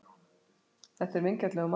Þetta er vingjarnlegur maður.